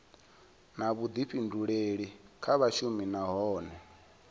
na vhuḓifhinduleli kha vhashumi nahone